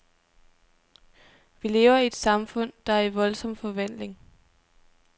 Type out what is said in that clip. Vi lever i et samfund, der er i voldsom forvandling.